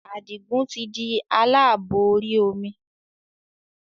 Adigun tí di aláàbò orí omi